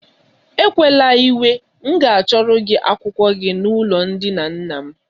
Ekwela iwe m ga achọrọ gị akwụkwọ gị na ụlọ ndina nna m.